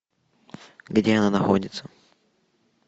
где она находится